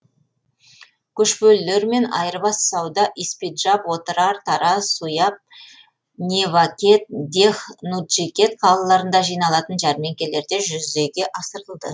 көшпелілермен айырбас сауда испиджаб отырар тараз суяб невакет дех нуджикет қалаларында жиналатын жәрмеңкелерде жүзеге асырылды